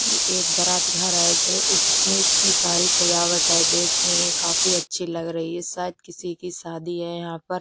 ये एक बारात घर है जो इतनी इतनी सारी सजावट है देखने में काफी अच्छी लग रही है शायद किसी की शादी है यहां पर।